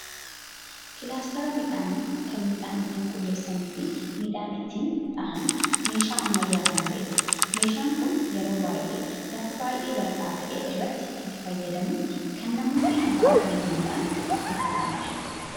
Kilaasteera miidhani kan miidhaan ittin qulleessanii fi miidhan ittin dha'aan meeshaa ammayyaa kan ta'edha. meeshaan kun yeroo baay'ee lafa baay'ee baldhaa ta'e irratti itti fayyadamuuf kan namoonni abba qabeenya ta'an bitatanidha.